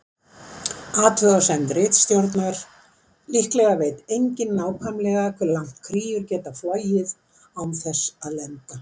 Athugasemd ritstjórnar: Líklega veit enginn nákvæmlega hve langt kríur geta flogið án þess að lenda.